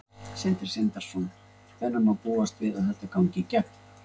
Sindri Sindrason: Hvenær má búast við að þetta gangi í gegn?